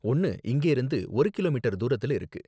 ஒன்னு இங்கயிருந்து ஒரு கிலோமீட்டர் தூரத்தில இருக்கு.